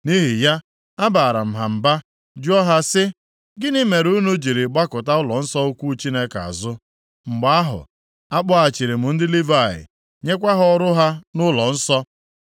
Nʼihi ya, abaara m ha mba jụọ ha si: “Gịnị mere unu jiri gbakụta ụlọnsọ ukwu Chineke azụ?” Mgbe ahụ akpọghachiri m ndị Livayị nyekwa ha ọrụ ha nʼụlọnsọ.